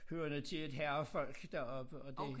Hørende til et herrefolk deroppe og det